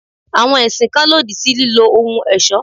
Àwọn ẹ̀sìn kan lòdì sí lílọ ohun ọ̀ṣọ́.